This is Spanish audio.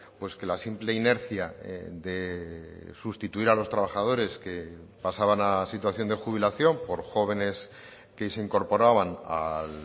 pues que la simple inercia de sustituir a los trabajadores que pasaban a situación de jubilación por jóvenes que se incorporaban a